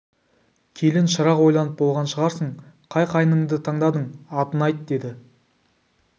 келін шырақ ойланып болған шығарсың қай қайныңды таңдадың атын айт деді